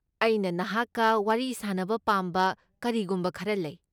ꯑꯩꯅ ꯅꯍꯥꯛꯀ ꯋꯥꯔꯤ ꯁꯥꯅꯕ ꯄꯥꯝꯕ ꯀꯔꯤꯒꯨꯝꯕ ꯈꯔ ꯂꯩ꯫